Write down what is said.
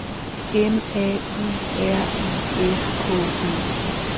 M A U R I S K E